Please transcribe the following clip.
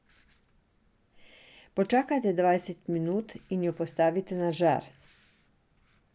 Počakajte dvajset minut in jo postavite na žar.